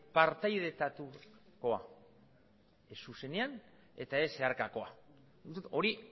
partaidetatukoa ez zuzenean eta ez zeharkakoa hori